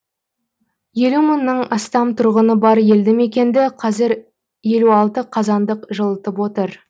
елу мыңнан астам тұрғыны бар елді мекенді қазір елу алты қазандық жылытып отыр